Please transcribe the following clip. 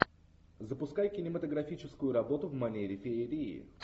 запускай кинематографическую работу в манере феерии